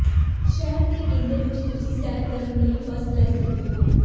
ਸ਼ਹਿਰ ਦੇ ਕੇਂਦਰ ਵਿਚ ਤੁਸੀਂ ਸੈਰ ਕਰਨ ਲਈ ਬੱਸ ਲੈ ਸਕਦੇ ਹੋ